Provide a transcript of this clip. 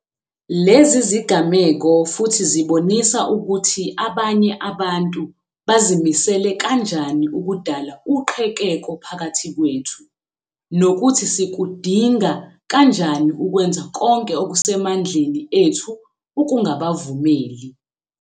Lezi zigameko futhi zibonisa ukuthi abanye abantu bazimisele kanjani ukudala uqhekeko phakathi kwethu, nokuthi sikudinga kanjani ukwenza konke okuse mandleni ethu ukungabavumeli.